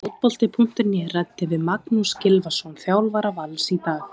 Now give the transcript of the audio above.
Fótbolti.net ræddi við Magnús Gylfason, þjálfara Vals, í dag.